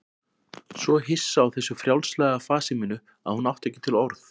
Svo hissa á þessu frjálslega fasi mínu að hún átti ekki til orð.